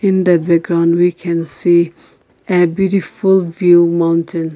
in the background we can see a beautiful view mountain.